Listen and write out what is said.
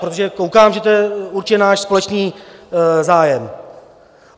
Protože koukám, že to je určitě náš společný zájem.